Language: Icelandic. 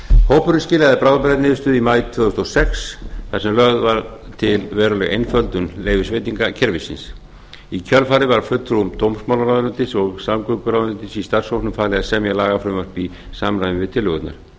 hópurinn skilaði bráðabirgðaniðurstöðu í maí tvö þúsund og sex þar sem lögð var til veruleg einföldun leyfisveitingakerfisins í kjölfarið var fulltrúum dómsmálaráðuneytisins og samgönguráðuneytisins í starfshópnum farið að semja lagafrumvarp í samræmi við tillögurnar